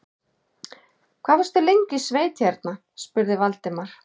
Hvað varstu lengi í sveit hérna? spurði Valdimar.